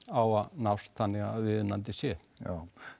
á að nást þannig að viðunandi sé já